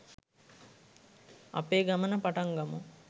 අපේ ගමන පටන් ගමු